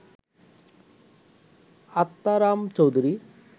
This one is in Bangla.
আত্মারাম চৌধুরী